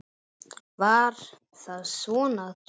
Var það svona að drukkna?